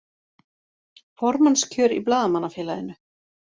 Formannskjör í Blaðamannafélaginu